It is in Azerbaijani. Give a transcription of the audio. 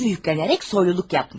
Suçu yüklənərək soyluluq yapmış.